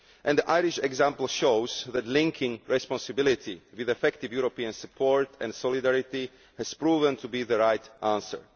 The Irish example shows that linking responsibility with effective European support and solidarity has proven to be the right answer.